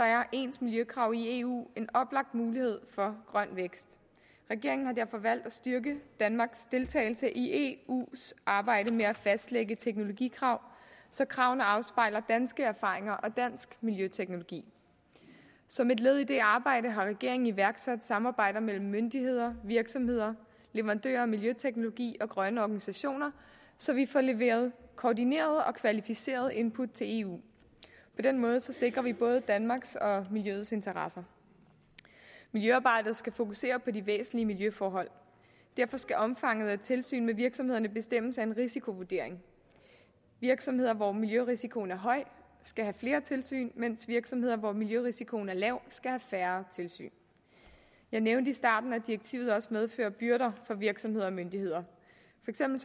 er ens miljøkrav i eu en oplagt mulighed for grøn vækst regeringen har derfor valgt at styrke danmarks deltagelse i eus arbejde med at fastlægge teknologikrav så kravene afspejler danske erfaringer og dansk miljøteknologi som et led i det arbejde har regeringen iværksat samarbejder mellem myndigheder virksomheder leverandører af miljøteknologi og grønne organisationer så vi får leveret koordinerede og kvalificerede input til eu på den måde sikrer vi både danmarks og miljøets interesser miljøarbejdet skal fokusere på de væsentlige miljøforhold derfor skal omfanget af tilsyn med virksomhederne bestemmes af en risikovurdering virksomheder hvor miljørisikoen er høj skal have flere tilsyn mens virksomheder hvor miljørisikoen er lav skal have færre tilsyn jeg nævnte i starten at direktivet også medfører byrder for virksomheder og myndigheder